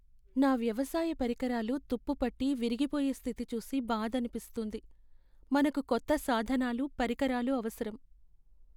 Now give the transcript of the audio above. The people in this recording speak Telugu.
నా వ్యవసాయ పరికరాలు తుప్పు పట్టి విరిగిపోయే స్థితి చూసి బాధనిపిస్తుంది. మనకు కొత్త సాధనాలు, పరికరాలు అవసరం.